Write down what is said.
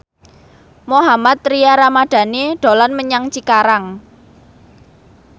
Mohammad Tria Ramadhani dolan menyang Cikarang